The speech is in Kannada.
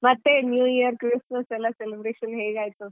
ಮತ್ತೇ New Year christmas celebration ಎಲ್ಲ ಹೇಗಾಯ್ತು?